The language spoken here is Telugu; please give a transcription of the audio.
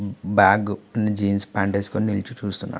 బ్యాకు జీన్స్ ప్యాంట్ వేసుకొని నిల్చుని చూస్తున్నాడు